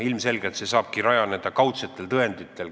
Ilmselgelt saabki see rajaneda kaudsetel tõenditel.